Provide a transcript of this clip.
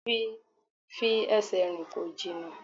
Fi ẹsẹ̀ rìn, kò jìnnà!